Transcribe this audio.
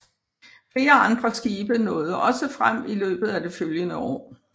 Flere andre skibe nåede også frem i løbet af det følgende år